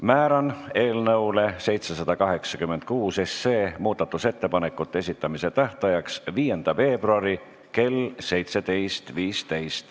Määran eelnõu 786 muudatusettepanekute esitamise tähtajaks 5. veebruari kell 17.15.